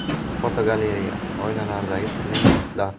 Fotogalereya: Oilalardagi turli muhitlar.